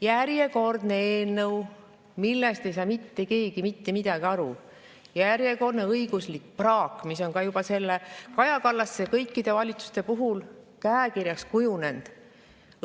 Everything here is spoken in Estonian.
Järjekordne eelnõu, millest ei saa mitte keegi mitte midagi aru, järjekordne õiguslik praak, mis on ka juba Kaja Kallase kõikide valitsuste puhul käekirjaks kujunenud.